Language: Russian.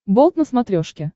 болт на смотрешке